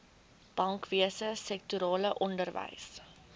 bankwese sektorale onderwys